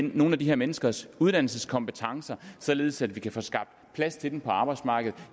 nogle af de her menneskers uddannelseskompetencer således at vi kan få skabt plads til dem på arbejdsmarkedet